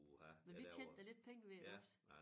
Men vi tjente da lidt penge ved det iggås